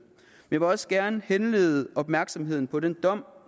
jeg vil også gerne henlede opmærksomheden på den dom